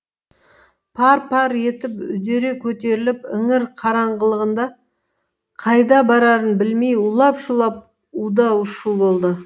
пар пар етіп үдере көтеріліп іңір қараңғылығында қайда барарын білмей улап шулап у да у шу болды